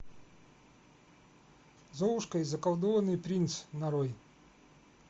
золушка и заколдованный принц нарой